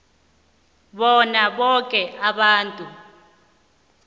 bona boke abantu